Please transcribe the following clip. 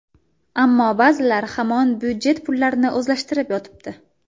Ammo ba’zilar hamon budjet pullarini o‘zlashtirib yotibdi.